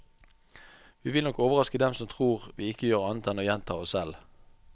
Vi vil nok overraske dem som tror at vi ikke gjør annet enn å gjenta oss selv.